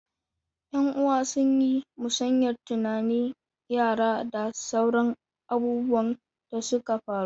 Yan'uwa sun yi musayar tunanin yara da sauran abubuwan da suka faru.